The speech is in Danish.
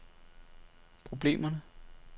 problemerne